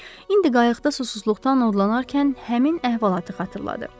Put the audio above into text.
İndi qayıqda susuzluqdan odlanarkən həmin əhvalatı xatırladı.